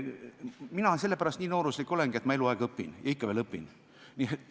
Mina sellepärast nii nooruslik olengi, et olen eluaeg õppinud ja ikka veel õpin.